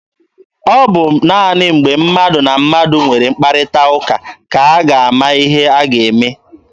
Ọ bụ naanị mgbe mmadụ na mmadụ nwere mkparịta ụka ka a ga-ama ihe a ga-eme.